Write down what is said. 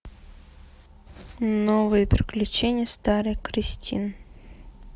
новые приключения старой кристин